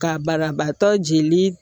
Ka banabaatɔ jeli